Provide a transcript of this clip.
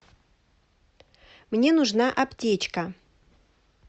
мне нужна аптечка